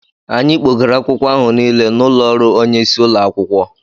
Anyị kpògara akwụkwọ áhù Nile n'ụlọ ọrụ onye isi ụlọ akwụkwọ